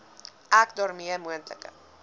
ek daarmee moontlike